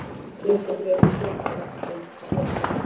Síðasta bréfið, síðasta setningin, síðasta orðið.